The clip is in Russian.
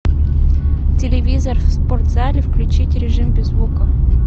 телевизор в спортзале включить режим без звука